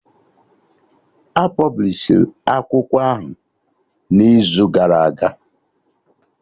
A pọblishi akwụkwọ ahụ n'izu gara aga